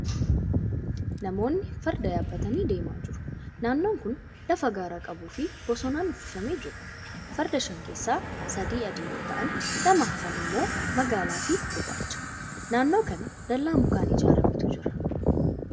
Namoonni farda yaabbatanii deemaa jiru. Naannon kuni lafa gaara qabuu fii bosonaan uwwifamee jiruudha. Farda shan keessaa sadi adii yoo ta'an lamaan hafan immoo magaalaa fi gurraacha. Naannoo kana dallaa mukaan ijaarametu jira.